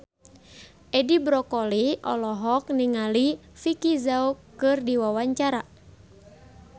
Edi Brokoli olohok ningali Vicki Zao keur diwawancara